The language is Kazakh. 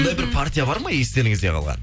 бір бір партия бар ма естеріңізде қалған